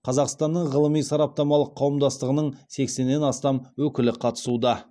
қазақстанның ғылыми сараптамалық қауымдастығының сексеннен астам өкілі қатысуда